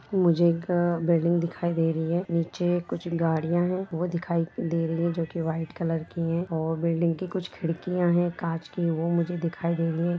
मुझे एक बिल्डिंग दिखाई दे रही है नीचे कुछ गाड़िया है वो दिखाई दे रही है जो की वाइट कलर की है और बिल्डिंग कुछ खिड़कियाँ है काँच की वो मुझे दिखाई दे रही है।